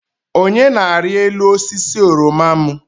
Onye na-arị elu osisi oroma m.